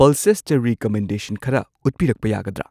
ꯄꯜꯁꯦꯁꯇ recommendation ꯈꯔ ꯎꯠꯄꯤꯔꯛꯄ ꯌꯥꯒꯗ꯭ꯔꯥ?